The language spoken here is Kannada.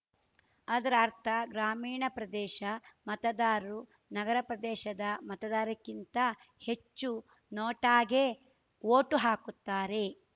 ಅದರರ್ಥ ಗ್ರಾಮೀಣ ಪ್ರದೇಶ ಮತದಾರರು ನಗರ ಪ್ರದೇಶದ ಮತದಾರರಿಗಿಂತ ಹೆಚ್ಚು ನೋಟಾಗೆ ವೋಟು ಹಾಕುತ್ತಾರೆ